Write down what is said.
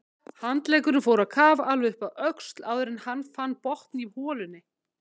Handleggurinn fór á kaf alveg upp að öxl áður en hann fann botn í holunni.